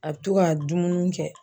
A be to ga dumuni kɛ